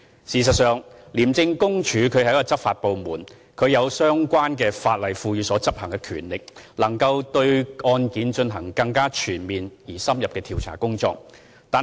事實上，廉署是執法部門，有相關法例賦予的權力，能夠對案件進行更全面而且深入的調查工作。